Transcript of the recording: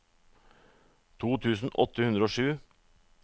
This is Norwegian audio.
to tusen åtte hundre og sju